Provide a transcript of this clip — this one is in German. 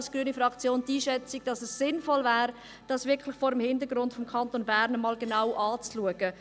Als grüne Fraktion teilen wir die Einschätzung, wonach es sinnvoll wäre, dies vor dem Hintergrund des Kantons Bern einmal genau zu betrachten.